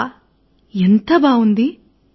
ఆహ ఎంత బావుంది